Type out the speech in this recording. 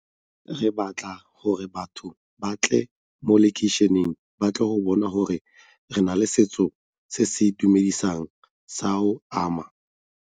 Re batla gore batho ba tle mo makeišeneng ba tle go bona gore re na le setso se se itumedisang sa ama.